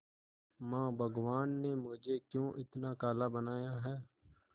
मां भगवान ने मुझे क्यों इतना काला बनाया है